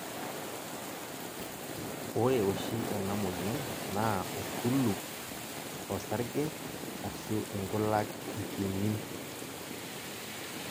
ore oshi ena moyian naa orkulup, osarge ashu inkulak ipimi.